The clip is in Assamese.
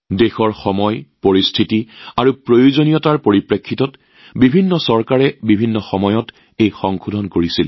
দেশৰ সময় পৰিস্থিতি আৰু প্ৰয়োজনীয়তাৰ লগত সংগতি ৰাখি বিভিন্ন চৰকাৰে বিভিন্ন সময়ত সংশোধনী কৰা হৈছে